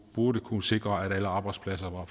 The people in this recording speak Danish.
burde kunne sikre at alle arbejdspladser var